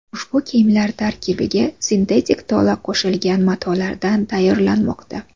Ushbu kiyimlar tarkibiga sintetik tola qo‘shilgan matolardan tayyorlanmoqda.